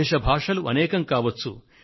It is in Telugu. వేష భాషలు అనేకం కావచ్చు